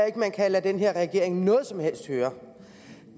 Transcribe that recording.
ikke man kan lade den her regering noget som helst høre